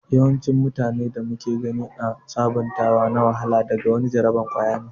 yawancin mutane da muka gani ã sabuntawa na wahala daga wani jaraban kwaya ne.